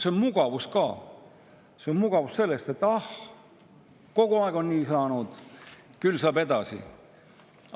See on ka mugavus: ah, kogu aeg on nii saanud, küll saab ka edasi!